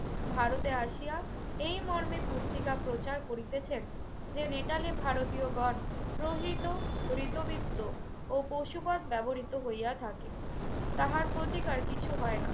ভারতে আসিয়া এই মর্মে পুস্তিকা প্রচার করিতেছেন যে, নেটালে ভারতীয়গণ প্রহীত হৃতবিত্ত ও পশুবৎ ব্যবহৃত হইয়া থাকে। তাহার প্রতিকার কিছু হয় না।